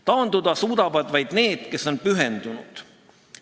Taanduda suudavad vaid need, kes on pühendunud.